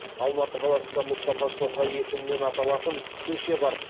алматы қаласында мұстафа шоқай есімімен аталатын көше бар